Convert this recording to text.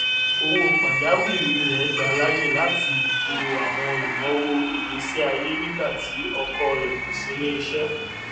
owó pajàwìrí rẹ gba láàyè láti bò àwọn ináwó ìgbésíayé nígbà tí ọkọ rẹ kò sí ní iṣẹ